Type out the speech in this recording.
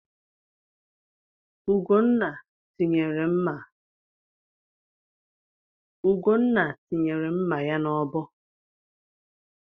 Ugonna tinyere mma ya n'ọbọ